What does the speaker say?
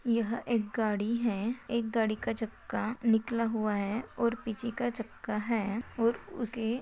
यह एक गाडी है एक गाड़ी का चक्का निकला हुआ है और पीछे का चक्का है और उसे--